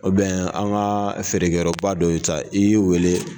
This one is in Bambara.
O an ka feerekɛ yɔrɔ ba dɔ y'i ta i y'u wele.